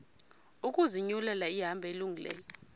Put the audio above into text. ukuzinyulela ihambo elungileyo